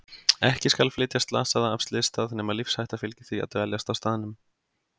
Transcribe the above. Ekki skal flytja slasaða af slysstað nema lífshætta fylgi því að dveljast á staðnum.